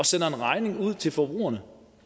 sender en regning ud til forbrugerne